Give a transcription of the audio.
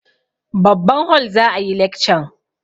Babban hol za a yi lekcan.